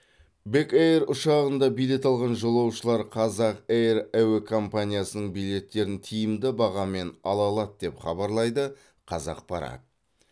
бек эйр ұшағында билет алған жолаушылар қазақ эйр әуе компаниясының билеттерін тиімді бағамен ала алады деп хабарлайды қазақпарат